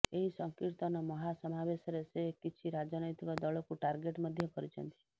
ଏହି ସଂକୀର୍ତ୍ତନ ମହାସମାବେଶରେ ସେ କିଛି ରାଜନୈତିକ ଦଳକୁ ଟାର୍ଗେଟ ମଧ୍ୟ କରିଛନ୍ତି